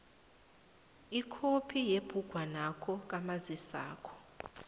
ikhophi yebhugwanakho kamazisakho